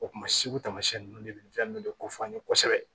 O kuma sugu tamasiyɛn ninnu de bɛ fɛn ninnu de kofɔ an ye kosɛbɛ